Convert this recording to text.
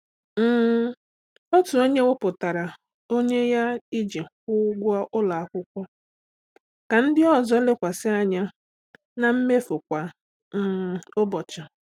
um Otu onye wepụtara onwe ya iji kwụọ ụgwọ ụlọ akwụkwọ ka ndị ọzọ lekwasị anya na mmefu kwa um ụbọchị.